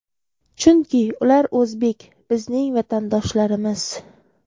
Chunki, ular o‘zbek, bizning vatandoshlarimiz!..